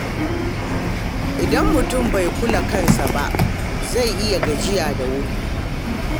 Idan mutum bai kula da kansa ba, zai iya gajiya da wuri.